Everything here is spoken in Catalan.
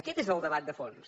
aquest és el debat de fons